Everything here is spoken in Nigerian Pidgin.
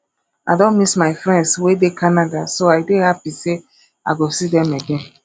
i don miss my friends wey dey canada so i dey happy say i go see dem again